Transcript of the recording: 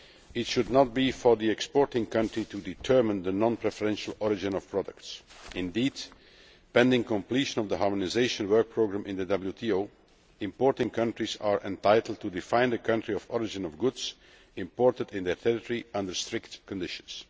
It should not be for the exporting country to determine the non preferential origin of products. Indeed, pending completion of the Harmonisation Work Programme in the WTO, importing countries are entitled to define the country of origin of goods imported into their territory, under strict conditions.